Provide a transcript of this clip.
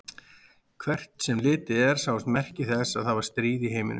Hvert sem litið var sáust merki þess að það var stríð í heiminum.